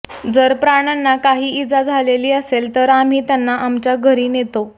जर प्राण्यांना काही इजा झालेली असेल तर आम्ही त्यांना आमच्या घरी नेतो